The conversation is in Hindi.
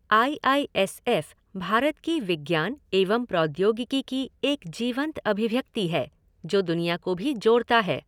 I I S F Bharat की विज्ञान एवं प्रौद्योगिकी की एक जीवंत अभिव्यक्ति है, जो दुनिया को भी जोड़ता है।